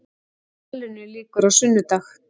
Rallinu lýkur á sunnudag